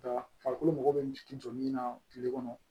Nka farikolo mago bɛ jɔ min na kile kɔnɔ